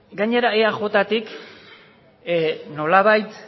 gainera eajtik nolabait